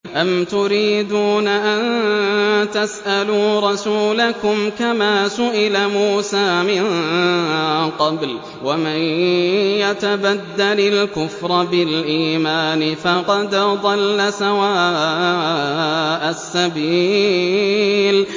أَمْ تُرِيدُونَ أَن تَسْأَلُوا رَسُولَكُمْ كَمَا سُئِلَ مُوسَىٰ مِن قَبْلُ ۗ وَمَن يَتَبَدَّلِ الْكُفْرَ بِالْإِيمَانِ فَقَدْ ضَلَّ سَوَاءَ السَّبِيلِ